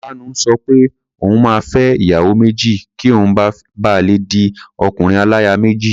Kanu sọ pé òun máa fẹ́ ìyàwó méjì kí òun ba lè di ọkùnrin-aláya-méjì.